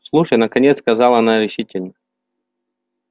слушай наконец сказала она решительно